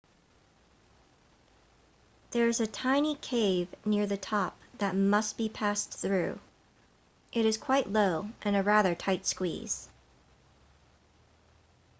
there's a tiny cave near the top that must be passed through it is quite low and a rather tight squeeze